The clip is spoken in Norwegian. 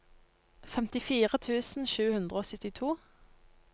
femtifire tusen sju hundre og syttito